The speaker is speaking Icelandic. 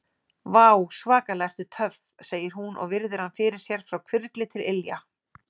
Vá, svakalega ertu töff, segir hún og virðir hann fyrir sér frá hvirfli til ilja.